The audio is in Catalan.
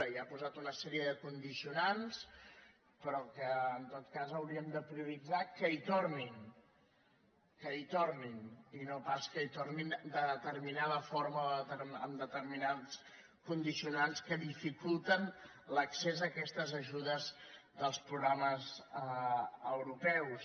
i ha posat una sèrie de condicionants però en tot cas hauríem de prioritzar que hi tornin que hi tornin i no pas que hi tornin de determinada forma o amb determinats condicionants que dificulten l’accés a aquestes ajudes dels programes europeus